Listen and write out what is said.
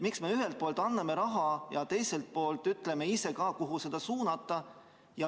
Miks me ühelt poolt anname raha ja teiselt poolt ise ütleme, kuhu see suunata?